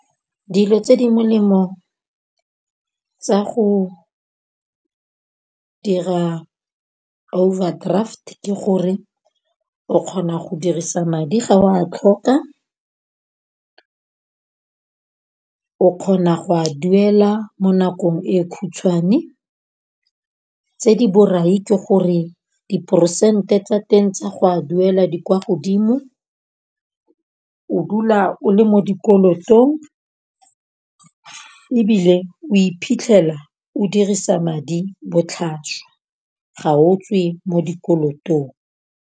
Dilo tse di molemo tsa go dira overdraft ke gore o kgona go dirisa madi ga o a tlhoka. O kgona go a duela mo nakong e khutshwane. Tse di borai ke gore diperesente tsa teng tsa go a duela di kwa godimo. O dula o le mo dikolotong ebile o iphitlhela o dirisa madi botlhaswa ga o tswe mo dikolotong.